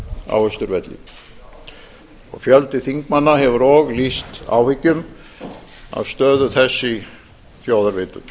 á austurvelli fjöldi þingmanna hefur og lýst áhyggjum af stöðu þess í þjóðarvitund